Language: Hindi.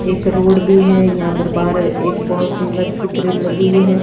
एक रोड भी है यहाँ पर बाहर एक सुंदर सी ग्रिल लगी हुई है।